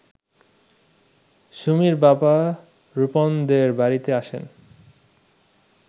সুমির বাবা রুপমদের বাড়িতে আসেন